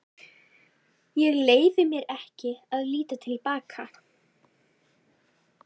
Ég leyfi mér ekki að líta til baka.